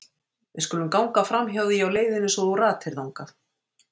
Við skulum ganga framhjá því á leiðinni svo þú ratir þangað.